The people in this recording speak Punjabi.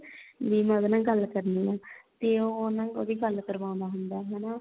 ਵੀ ਮੈਂ ਉਹਦੇ ਨਾਲ ਗੱਲ ਕਰਨੀ ਆ ਤੇ ਉਹ ਨਾ ਉਹਦੀ ਗੱਲ ਕਰਵਾਉਂਦਾ ਹੁੰਦਾ ਹਨਾ